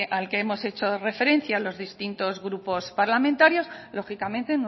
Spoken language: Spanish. al que hemos hecho referencia los distintos grupos parlamentarios lógicamente